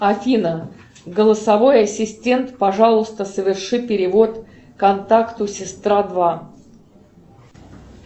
афина голосовой ассистент пожалуйста соверши перевод контакту сестра два